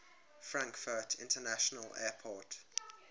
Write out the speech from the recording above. frankfurt international airport